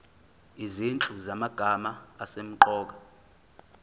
izinhlu zamagama asemqoka